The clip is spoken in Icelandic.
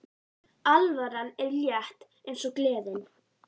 Alvaran er létt eins og gleðin.